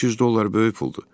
300 dollar böyük puldur.